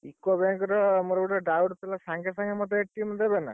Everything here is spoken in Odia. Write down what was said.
UCO bank ର ମୋର ଗୁଟେ doubt ଥିଲା ସାଙ୍ଗେ ସାଙ୍ଗେ ମତେ ଦେବେ ନା?